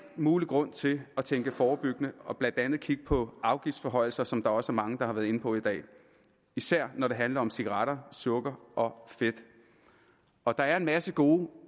mulig grund til at tænke forebyggende og blandt andet kigge på afgiftsforhøjelser som der også er mange der har været inde på i dag især når det handler om cigaretter sukker og fedt og der er en masse gode